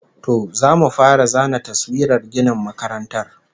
To, zamu fara zana taswirar ginin makarantar